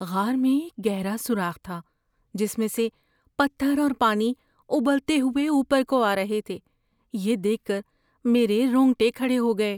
غار میں ایک گہرا سوراخ تھا جس میں سے پتھر اور پانی ابلتے ہوئے اوپر کو آ رہے تھے، یہ دیکھ کر میرے رونگٹے کھڑے ہو گئے۔